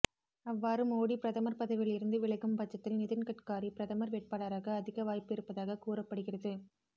அவ்வாறு மோடி பிரதமர் பதவியில் இருந்து விலகும் பட்சத்தில் நிதின்கட்காரி பிரதமர் வேட்பாளராக அதிக வாய்ப்பு இருப்பதாக கூறப்படுகிறது